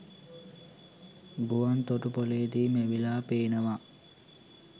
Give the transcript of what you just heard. ගුවන්තොටු‍පොළේදී මැවිලා පේනවා.